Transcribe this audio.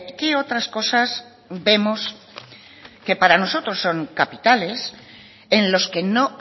qué otras cosas vemos que para nosotros son capitales en los que no